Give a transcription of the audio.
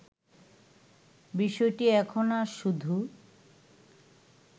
বিষয়টি এখন আর শুধু